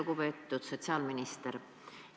Lugupeetud sotsiaalminister!